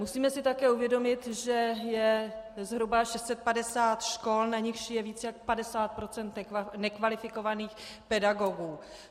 Musíme si také uvědomit, že je zhruba 650 škol, na nichž je více než 50 % nekvalifikovaných pedagogů.